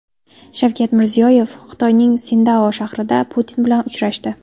Shavkat Mirziyoyev Xitoyning Sindao shahrida Putin bilan uchrashdi.